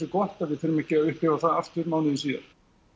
gott að við þurfum ekki að upplifa það aftur mánuði síðar